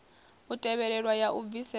u tevhelwa ya u bvisela